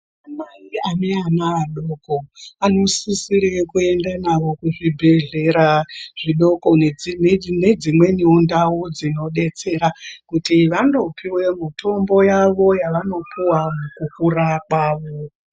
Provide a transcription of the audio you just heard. Ana mai ane ana adoko anosise kuenda nao kuzvibhedhlera zvidoko nedzimweni ndau dzinodetsera kuti vandopuwa mitombo yavo yavanopiwa mukurapa.